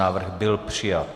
Návrh byl přijat.